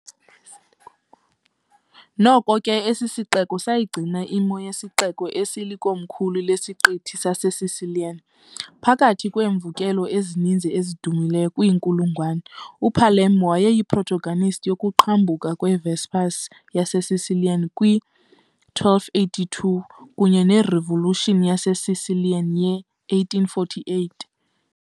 Noko ke, esi sixeko sayigcina imo yesixeko "esilikomkhulu lesiqithi saseSicilian" . Phakathi kweemvukelo ezininzi ezidumileyo kwiinkulungwane, uPalermo wayeyi-protagonist yokuqhambuka kwe- Vespers yaseSicilian kwi -1282 kunye ne- revolution yaseSicilian ye-1848 .